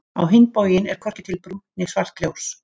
Á hinn bóginn er hvorki til brúnt né svart ljós.